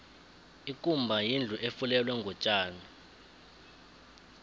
ikumba yindlu efulelwe ngotjani